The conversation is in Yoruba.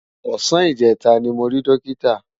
Òsàn ijètá ni mó ri Dókitá